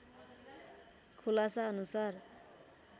खुलासा अनुसार